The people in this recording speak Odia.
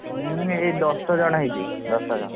ନା ଏଇ ମାନେ ଦଶ ଜଣ ହେଇଛି ଦଶ ଜଣ।